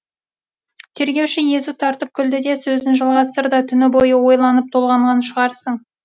тергеуші езу тартып күлді де сөзін жалғастырды түні бойы ойланып толғанған шығарсың